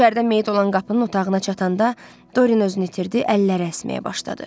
İçəridə meyit olan qapının otağına çatanda Doren özünü itirdi, əlləri əsməyə başladı.